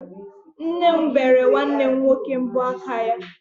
Nne m bere nwanne m nwoke mbọ aka ya.